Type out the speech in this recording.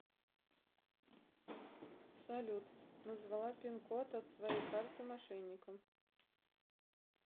салют назвала пин код от своей карты мошенникам